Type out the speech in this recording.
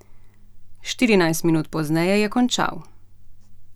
Štirinajst minut pozneje je končal.